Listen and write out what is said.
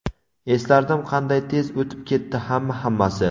eslardim qanday tez o‘tib ketdi hamma-hammasi.